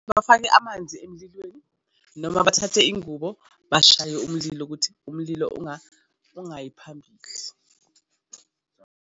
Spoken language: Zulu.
Bafake amanzi emlilweni noma bathathe ingubo, bashaye umlilo ukuthi umlilo ungayi phambili.